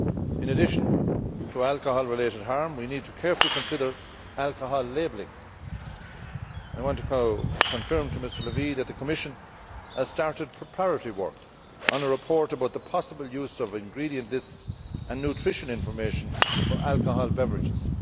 In addition to alcohol related harm, we need to carefully consider alcohol labelling. I want to confirm to Mr La Via that the Commission has started preparatory work on a report about the possible use of ingredient lists and nutrition information for alcoholic beverages.